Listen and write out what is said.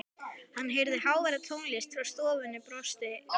Hann heyrði háværa tónlist frá stofunni og brosti í laumi.